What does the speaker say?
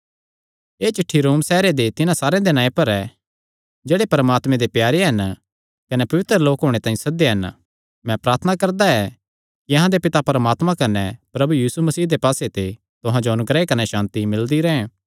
एह़ चिठ्ठी रोम सैहरे दे तिन्हां सारेयां दे नां पर ऐ जेह्ड़े परमात्मे दे प्यारे हन कने पवित्र लोक होणे तांई सद्देयो हन मैं प्रार्थना करदा ऐ कि अहां दे पिता परमात्मा कने प्रभु यीशु मसीह दे पास्से ते तुहां जो अनुग्रह कने सांति मिलदी रैंह्